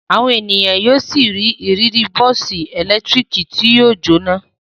Àwọn ènìyàn yóò ṣì ní ìrírí bọ́ọ́sì ẹ̀lẹ́tíríkì tí yóò jóná.